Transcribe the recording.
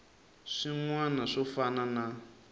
swin wana swo fana na